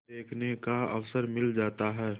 देखने का अवसर मिल जाता है